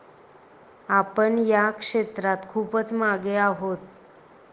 आपण या क्षेत्रात खूपच मागे आहोत.